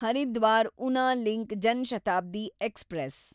Haridwar Una link Janshatabdi express